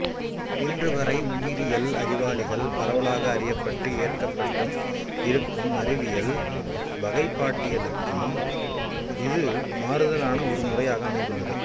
இன்றுவரை உயிரியல் அறிவாளிகளால் பரவலாக அறியப்பட்டும் ஏற்கப்பட்டும் இருக்கும் அறிவியல் வகைப்பாட்டியலுக்கு இது மாறுதலான ஒரு முறையாக அமைந்துள்ளது